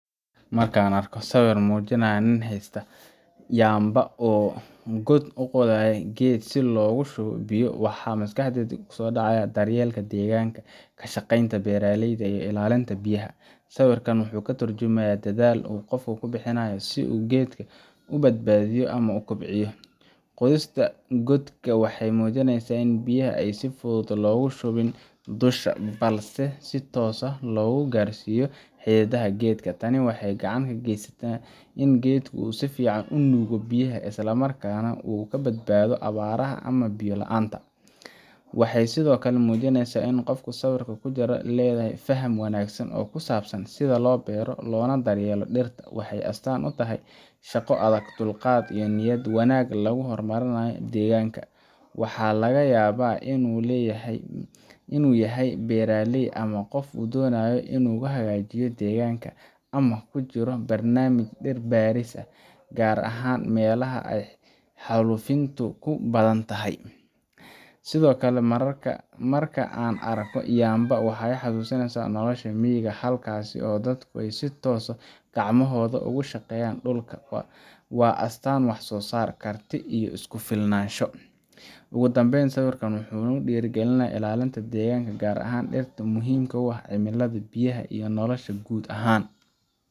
Marka aan arko sawir muujinaya nin haysta yamba oo god u qodayo geed si loogu shubo biyo, waxa maskaxdayda ugu horreeya waa daryeelka deegaanka, ka shaqaynta beeraleyda, iyo ilaalinta biyaha. Sawirkan wuxuu ka tarjumayaa dadaal uu qofku ku bixinayo si uu geedka u badbaadiyo ama u kobciyo. Qodista godka waxay muujinaysaa in biyaha aan si fudud loogu shubin dusha, balse si toos ah loo gaarsiiyo xididdada geedka. Tani waxay gacan ka geysanaysaa in geedku si fiican u nuugo biyaha isla markaana uu ka badbaado abaaraha ama biyo la’aanta. Waxay sidoo kale muujinaysaa in qofka sawirka ku jira uu leeyahay faham wanaagsan oo ku saabsan sida loo beero loona daryeelo dhirta. Waxay astaan u tahay shaqo adag, dulqaad, iyo niyad wanaag lagu horumarinayo deegaanka. Waxaa laga yaabaa inuu yahay beeraley ama qof doonaya inuu hagaajiyo deegaanka, ama uu ku jiro barnaamij dhir beeris ah, gaar ahaan meelaha ay xaalufintu ku badantahay. Sidoo kale, marka aan arko yamba , waxaa i xasuusaa nolosha miyiga, halkaas oo dadku si toos ah gacmahooda ugu shaqeeyaan dhulka. Waa astaanta wax-soo-saar, karti, iyo isku-filnaansho. Ugu dambayn, sawirka wuxuu dhiirrigelinayaa ilaalinta deegaanka, gaar ahaan dhirta oo muhiim u ah cimilada, biyaha, iyo nolosha guud ahaan